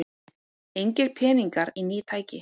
Engir peningar í ný tæki